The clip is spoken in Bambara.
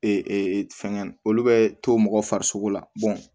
fɛngɛ olu bɛ to mɔgɔ farisogo la